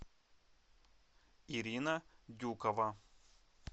ирина дюкова